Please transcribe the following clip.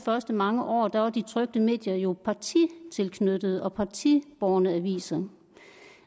mange år var de trykte medier jo partitilknyttede og partibårne aviser